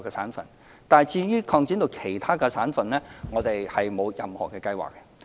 不過，對於將安排擴展至其他省份，我們沒有任何計劃。